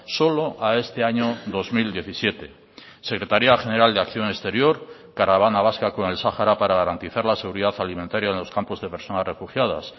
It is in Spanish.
solo a este año dos mil diecisiete secretaría general de acción exterior caravana vasca con el sahara para garantizar la seguridad alimentaria en los campos de personas refugiadas